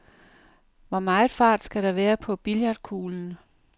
Hvor meget fart skal der være på billiardkuglen?